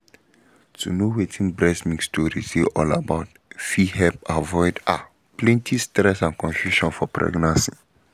to know wetin breast milk storage dey all about fit help um avoid ah plenty stress and confusion for pregnancy